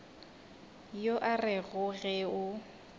yo o rego ge o